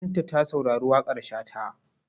Binta ta saurari waƙar Shata.